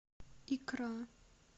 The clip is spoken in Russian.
икра